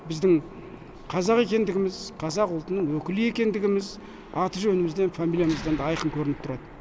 біздің қазақ екендігіміз қазақ ұлтының өкілі екендігіміз аты жөнімізден фамилиямыздан да айқын көрініп тұрады